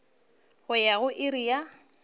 go ya go iri ya